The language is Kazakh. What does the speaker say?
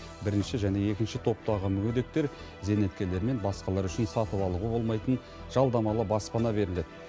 бірінші және екінші топтағы мүгедектер зейнеткерлер мен басқалар үшін сатып алуға болмайтын жалдамалы баспана беріледі